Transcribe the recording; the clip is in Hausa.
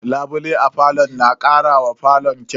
Labulaye a falo na karawa falon kyau.